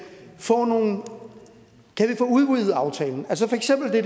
få udvidet aftalen altså for eksempel det